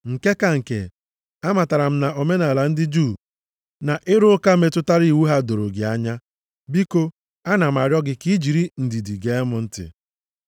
Nke ka nke, amatara m na omenaala ndị Juu na ịrụ ụka metụtara iwu ha doro gị anya. Biko ana m arịọ gị ka i jiri ndidi gee m ntị.